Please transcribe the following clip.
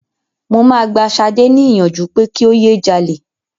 Mo máa gba Ṣadé ní ìyànjú pé kí o yé jalè.